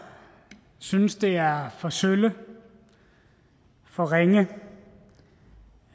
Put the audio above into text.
synes det er for sølle for ringe